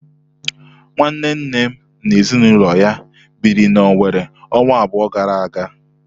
Nwanne nnem na ezinụlọ ya biri na Owere ọnwa abụọ gara aga.